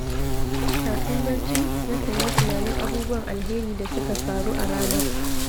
Kafin barci, nakan yi tunanin abubuwan alheri da suka faru a ranar.